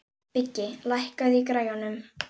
Biggi, lækkaðu í græjunum.